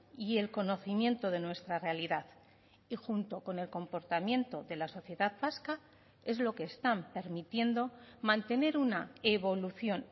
y el conocimiento de nuestra realidad y junto con el comportamiento de la sociedad vasca es lo que están permitiendo mantener una evolución